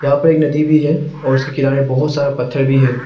यहां पे एक नदी भी है और उसके किनारे बहोत सारा पत्थर भी है।